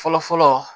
Fɔlɔ fɔlɔ